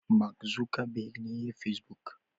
Mak Zukeber ne ya yi pesbuk.